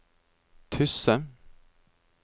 Tysse